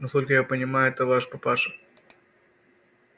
насколько я понимаю это ваш папаша